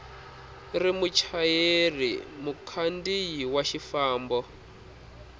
ri muchayeri mukhandziyi wa xifambo